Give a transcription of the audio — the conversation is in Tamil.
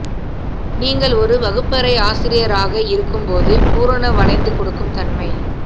நீங்கள் ஒரு வகுப்பறை ஆசிரியராக இருக்கும்போது பூரண வளைந்து கொடுக்கும் தன்மை